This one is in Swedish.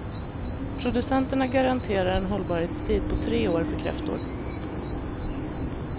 Producenterna garanterar en hållbarhetstid på tre år för kräftor.